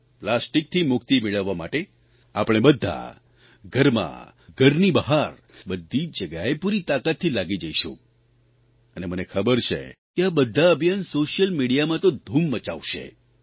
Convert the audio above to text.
પ્લાસ્ટીકથી મુક્તિ મેળવવા માટે આપણે બધા ઘરમાં ઘરની બહાર બધી જગ્યાએ પૂરી તાકાતથી લાગી જઇશું અને મને ખબર છે કે આ બધાં અભિયાન સોશ્યલ મિડિયામાં તો ધૂમ મચાવશે